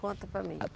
Conta para mim.